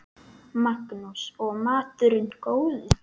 Magnús: Og maturinn góður?